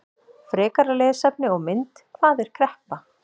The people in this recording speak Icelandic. Frekara lesefni og mynd: Hvað er kreppa?